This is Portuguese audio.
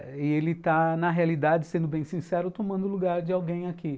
E ele está, na realidade, sendo bem sincero, tomando o lugar de alguém aqui.